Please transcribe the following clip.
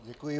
Děkuji.